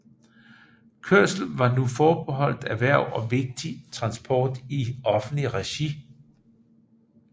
Kørsel var nu forbeholdt erhverv og vigtig transport i offentligt regi